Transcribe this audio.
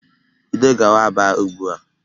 Bido gawa Aba ugbu a!